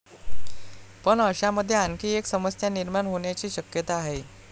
पण अशामध्ये आणखी एक समस्या निर्माण होण्याची शक्यता आहे.